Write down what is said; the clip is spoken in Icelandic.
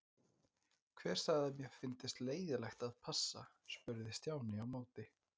Hver sagði að mér fyndist leiðinlegt að passa? spurði Stjáni á móti.